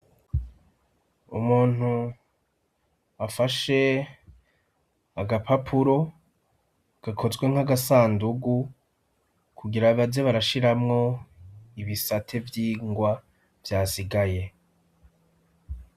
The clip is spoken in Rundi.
Umuntu afashe agapapuro gakozwe nk'agasandugu kugira baze barashiramwo ibisate vy'ingwa vyasigaye.